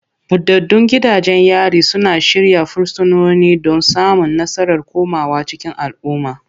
Buɗaɗɗun gidajen yari suna shirya fursunoni don samun nasarar komawa cikin al'umma.